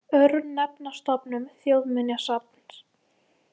Örnefnastofnun Þjóðminjasafns.